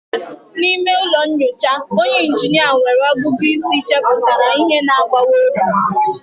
N'ime ụlọ nyocha, onye injinia nwere ọgụgụ isi chepụtara ihe na-agbawa obi.